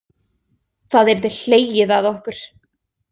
Það yrði hlegið að okkur.